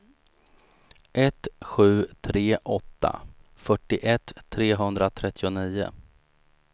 ett sju tre åtta fyrtioett trehundratrettionio